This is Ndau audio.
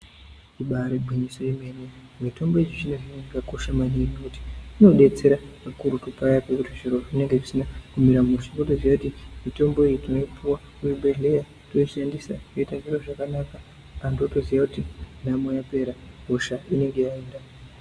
Ibari ngwinyiso yemene mitombo yechizvino zvino yakakosha maningi ngekuti kakurutu paya pekuti zviro zvinenge zvisina mushe wotoziya kuti mitombo iyi tinoipuwa kuzvibhedhlera toshandisa toita zviro zvakanaka antu atoziwa kuti nhamo yapera hosha inenge yaenda.